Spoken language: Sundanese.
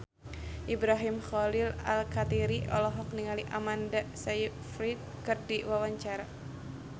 Ibrahim Khalil Alkatiri olohok ningali Amanda Sayfried keur diwawancara